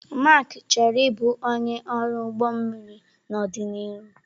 Mark chọrọ ịbụ onye ọrụ ụgbọ mmiri n'ọdịnihu.